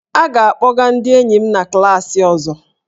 A ga-akpọga ndị enyi m na klaasị ọzọ